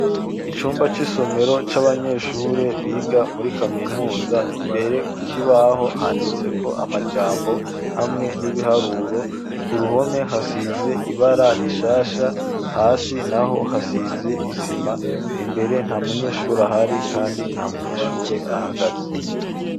Icumba c'isomero cy'abanyeshure biga muri kaminuza imbere kukibaho handitse ko amajambo hamwe n'ibiharuro ku ruhome hasize ibara rishasha hasi naho hasize isima imbere nta munyeshuri ahari kandi nta munyeshure ahagaze.